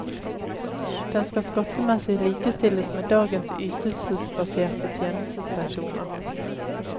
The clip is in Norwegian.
Den skal skattemessig likestilles med dagens ytelsesbaserte tjenestepensjoner.